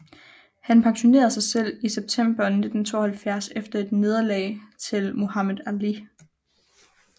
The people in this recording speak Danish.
Han pensionerede sig selv i september 1972 efter et nederlag til Muhammad Ali